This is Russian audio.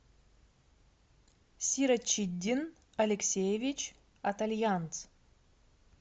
сирочиддин алексеевич атальянц